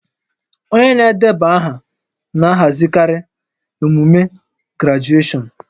Onye na-edeba aha na-ahazikarị emume grajueshọn